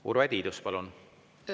Urve Tiidus, palun!